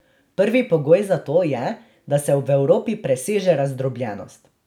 Prvi pogoj za to je, da se v Evropi preseže razdrobljenost.